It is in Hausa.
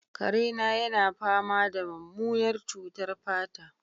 kare na yana fama da mummunar cutar fata